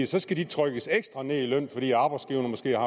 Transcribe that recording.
så skal de trykkes ekstra ned i løn fordi arbejdsgiverne måske har